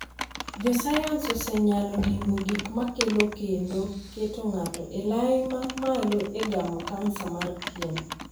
Josayans osenyalo dimbo gik makelo kendo keto ng'ato e lai ma malo e gamo kansa mar pien.